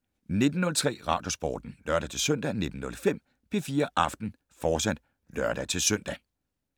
19:03: Radiosporten (lør-søn) 19:05: P4 Aften, fortsat (lør-søn)